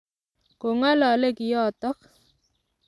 Kong'alale kiotok.